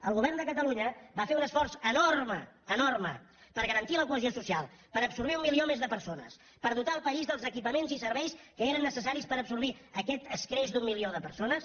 el govern de catalunya va fer un esforç enorme enorme per garantir la cohesió social per absorbir un milió més de persones per dotar el país dels equipaments i serveis que eren necessaris per absorbir aquest escreix d’un milió de persones